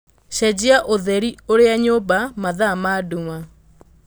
cenjia ũtheri ũrĩa nyũmba mathaa ma nduma